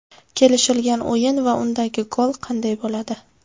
Kelishilgan o‘yin va undagi gol qanday bo‘ladi?